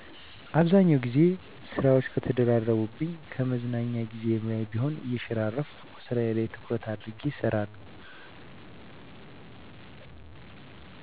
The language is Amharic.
በአብዛኛው ግዜ ስራወች ከተደራረቡብኝ ከመዝናኛ ግዜየ ላይም ቢሆን እየሸራረፍኩ ስራየ ላይ ትኩረት አድርጌ እሰራለሁ።